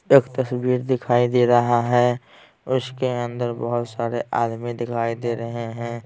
एक तस्वीर दिखाई दे रहा है उसके अंदर बहुत सारे आदमी दिखाई दे रहे हैं।